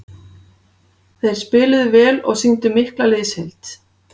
Þeir spiluðu vel og sýndu mikla liðsheild.